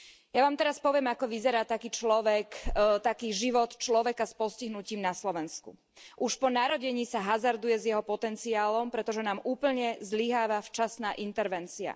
Ja vám teraz poviem, ako vyzerá taký človek, taký život človeka s postihnutím na Slovensku. Už po narodení sa hazarduje s jeho potenciálom, pretože nám úplne zlyháva včasná intervencia.